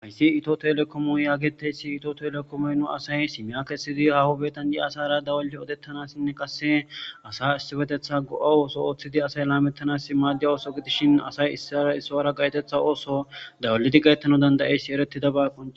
Hayssi itho thelekoomo yaageteyssi; itho thelekomoy nu asay simiya kessidi haho biiththan diya asaara dawulidi odeththanassinne qase asa issipetheththa go7a ooso ooththidi asay laameththanaasi maaddiya ooso gidishshin asay issaara issuwaara gaytheththa ooso dawulidi gayeththanawu dandda7eessi ereththidaba guussa.